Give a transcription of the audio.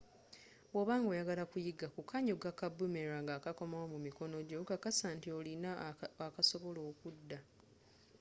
bwoba nga oyagala okuyiga kukanyuga ka boomerang akakomawo mu mikono jjo kakasa nti olina akasobola okudda